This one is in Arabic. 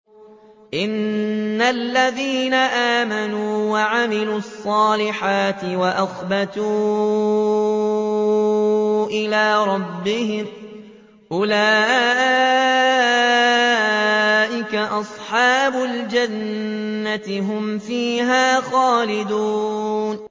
إِنَّ الَّذِينَ آمَنُوا وَعَمِلُوا الصَّالِحَاتِ وَأَخْبَتُوا إِلَىٰ رَبِّهِمْ أُولَٰئِكَ أَصْحَابُ الْجَنَّةِ ۖ هُمْ فِيهَا خَالِدُونَ